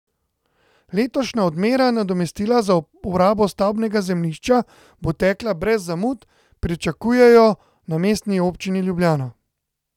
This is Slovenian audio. Letošnja odmera nadomestila za uporabo stavbnega zemljišča bo tekla brez zamud, pričakujejo na Mestni občini Ljubljana.